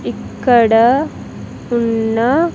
ఇక్కడ ఉన్న.